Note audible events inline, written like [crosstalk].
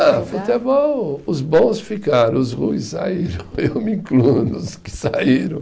Ah, futebol, os bons ficaram, os ruins saíram, eu me incluo nos que saíram. [laughs]